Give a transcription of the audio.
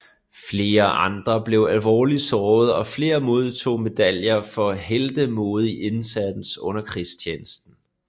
Flere andre blev alvorligt såret og flere modtog medaljer for heltemodig indsats under krigstjenesten